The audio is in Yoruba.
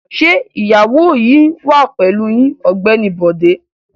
Ṣé ìyàwó yín wà pẹ̀lú yín Ọ̀gbẹ́ni Bọ̀dé?